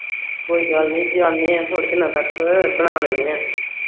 ਕੋਈ ਗੱਲ ਨਹੀ ਜਾਨੇ ਆਂ ਥੋੜੇ ਦਿਨਾਂ ਤੱਕ ਬਣਾ ਲੈਨੇ ਆਂ